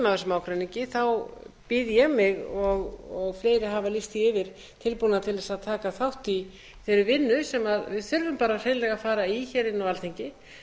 af þessum ágreiningi þá býð ég mig og fleiri hafa lýst því yfir tilbúna til að taka þátt í þeirri vinnu sem við þurfum hreinlega að fara í á alþingi